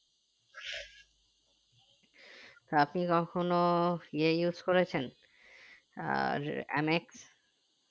আপনি কখনো এ use করেছেন আহ MX